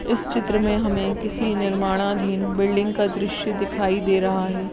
इस चित्र मे हमे किसी निर्माणाधीन बिल्डिंग का दृश्य दिखाई दे रहा है।